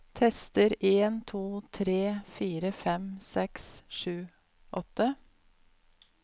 Tester en to tre fire fem seks sju åtte